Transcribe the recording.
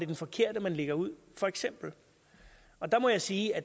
den forkerte man lægger ud for eksempel og der må jeg sige at